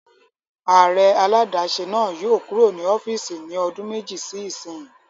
Ààrẹ aládàáṣe náà yóò kúrò ní ọ́fìsì ní ọdún méjì sí ìsínyi